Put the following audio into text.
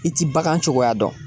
I ti bagan cogoya dɔn